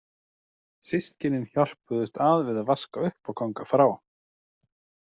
Systkynin hjálpuðust að við að vaska upp og ganga frá.